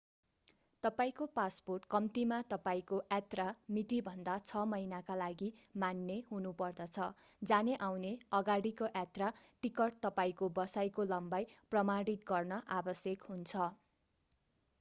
तपाईंको पासपोर्ट कम्तीमा तपाईंको यात्रा मितिभन्दा 6 महिनाका लागि मान्य हुनुपर्दछ। जाने-आउने/अगाडिको यात्रा टिकट तपाईंको बसाईको लम्बाई प्रमाणित गर्न आवश्यक हुन्छ।